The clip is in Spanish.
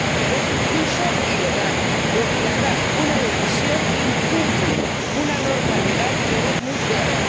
Pero es un pulso ilegal, pues dilatar una decisión incumple una norma legal que es muy clara.